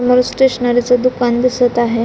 मला स्टेशनरीच दुकान दिसत आहे.